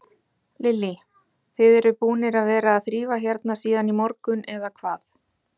Lillý: Þið eruð búnir að vera að þrífa hérna síðan í morgun, eða hvað?